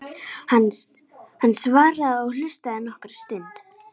Hann svaraði og hlustaði nokkra stund.